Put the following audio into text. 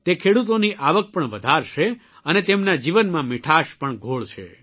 તે ખેડૂતોની આવક પણ વધારશે અને તેમના જીવનમાં મીઠાશ પણ ઘોળશે